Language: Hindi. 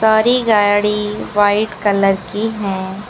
बड़ी गाड़ी वाइट कलर की है।